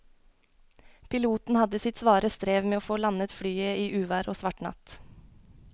Piloten hadde sitt svare strev med å få landet flyet i uvær og svart natt.